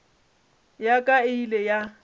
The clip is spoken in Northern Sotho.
ya ka e ile ya